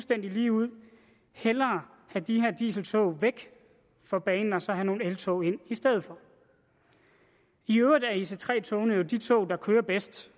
det ligeud hellere have de her dieseltog væk fra banen og så have nogle eltog ind i stedet for i øvrigt er ic3 togene jo de tog der kører bedst